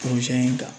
in kan